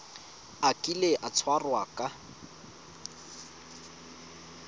a kile a tshwarwa ka